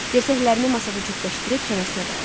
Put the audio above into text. Dirsəklərini masada cütləşdirib çənəsinə dayadı.